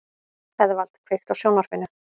Eðvald, kveiktu á sjónvarpinu.